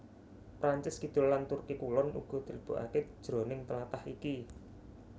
Prancis Kidul lan Turki Kulon uga dilebokaké jroning tlatah iki